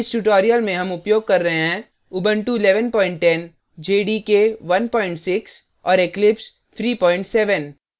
इस tutorial में हम उपयोग कर रहे हैं